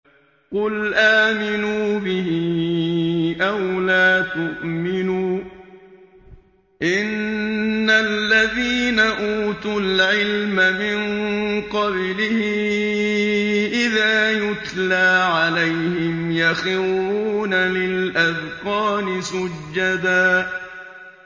قُلْ آمِنُوا بِهِ أَوْ لَا تُؤْمِنُوا ۚ إِنَّ الَّذِينَ أُوتُوا الْعِلْمَ مِن قَبْلِهِ إِذَا يُتْلَىٰ عَلَيْهِمْ يَخِرُّونَ لِلْأَذْقَانِ سُجَّدًا